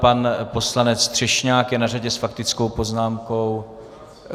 Pan poslanec Třešňák je na řadě s faktickou poznámkou.